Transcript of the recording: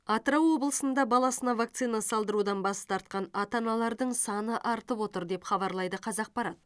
атырау облысында баласына вакцина салдырудан бас тартқан ата аналардың саны артып отыр деп хабарлайды қазақпарат